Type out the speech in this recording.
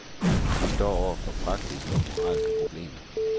De står over for praktiske og moralske problemer.